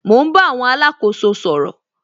Mo ń bá àwọn alákóso sọ̀rọ̀